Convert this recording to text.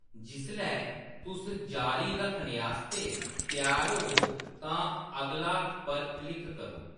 जिसलै तुस जारी रक्खने आस्तै त्यार होवो तां 'अगला' पर क्लिक करो।